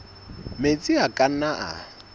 metsi a ka nnang a